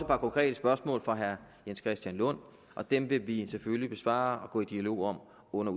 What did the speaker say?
par konkrete spørgsmål fra herre jens christian lund og dem vil vi selvfølgelig besvare og gå i dialog om under